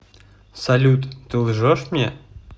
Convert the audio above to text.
салют ты лжешь мне